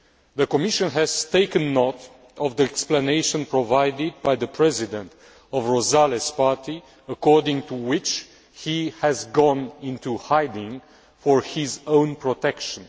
The Commission has taken note of the explanation provided by the president of Rosales' party, according to which he has gone into hiding for his own protection.